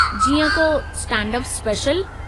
जीअं को stand up special.